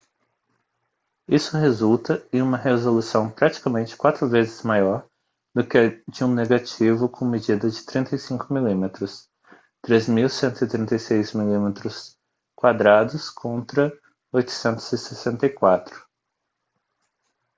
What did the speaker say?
isso resulta em uma resolução praticamente quatro vezes maior do que a de um negativo com medida de 35 mm 3136 mm2 contra 864